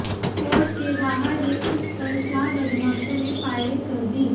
court के बाहर ही उस पर चार बदमाशों ने फायरिंग कर दी